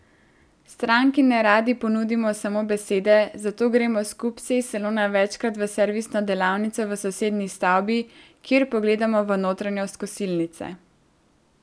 Stranki neradi ponudimo samo besede, zato gremo s kupci iz salona večkrat v servisno delavnico v sosednji stavbi, kjer pogledamo v notranjost kosilnice.